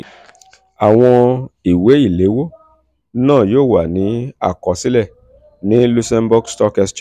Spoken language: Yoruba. àwọn ìwé um ìléwọ́ náà yóò wà ní àkọsílẹ̀ ní luxembourg stock exchange